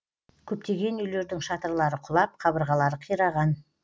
көптеген үйлердің шатырлары құлап қабырғалары қираған